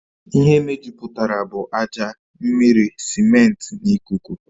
Ihe mejupụtara bụ ájá, mmiri, simenti na ikuku